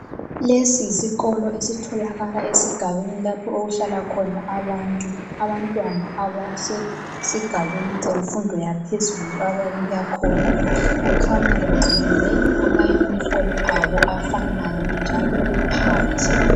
Lesi yisikolo esitholakala esigabeni lapho okuhlala khona abantu, abantwana abasesigabeni semfundo yaphezulu ababuya khona. Kukhanya begqokile amayunifomu abo afanayo njalo bephandle.